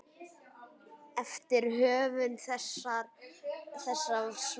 eftir höfund þessa svars.